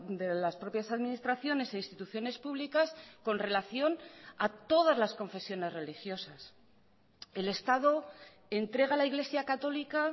de las propias administraciones e instituciones públicas con relación a todas las confesiones religiosas el estado entrega a la iglesia católica